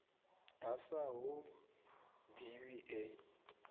a sa hu ḓivhi e